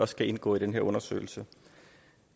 skal indgå i den her undersøgelse